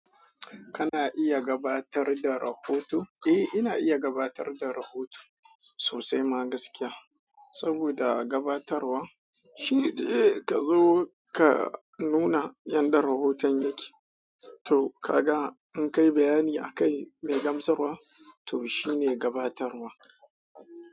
Kana iya gabatar da rahoto? Eh ina iya gabatar da rahoto sosai ma saboda gabatarwa shi zai kawo ka nuna yanda rahoton yake. To ka ga in kayi bayani a kai mai gamsarwa to shi ne gabatarwa.